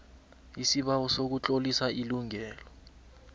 isibawo sokutlolisa ilungelo